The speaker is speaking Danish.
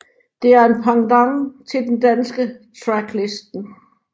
Det er en pendant til den danske Tracklisten